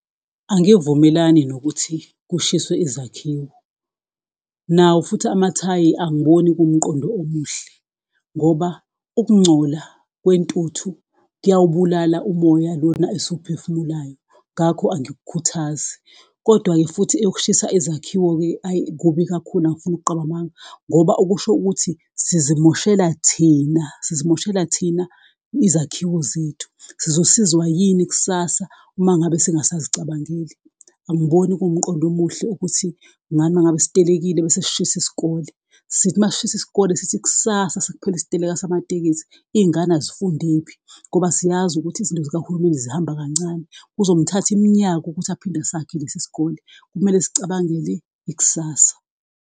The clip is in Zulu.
Angivumelani nokuthi kushiswe izakhiwo, nawo futhi amathayi angiboni kuwumqondo omuhle ngoba ukungcola kwentuthu kuyawubulala umoya lona esiwuphefumulayo, ngakho angikukhuthazi. Kodwa-ke futhi ukushisa ezakhiwe-ke ayi kubi kakhulu angifuni ukuqamba amanga, ngoba okusho ukuthi sizimoshela thina, sizimoshela thina izakhiwo zethu, sizosizwa yini kusasa uma ngabe singasazicabangeli? Angiboni kuwumqondo omuhle ukuthi njalo uma ngabe sitelekile bese sishisa isikole, sithi masishisa isikole sithi kusasa sekuphele isiteleka samatekisi izingane azifundephi? ngoba siyazi ukuthi izinto zikahulumeni zihamba kancane, kuzomthatha iminyaka ukuthi aphinde asakhe lesi sikole, kumele sicabangele ikusasa.